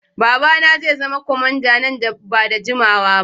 Babana zai zama kwamanda nan ba da jimawa ba.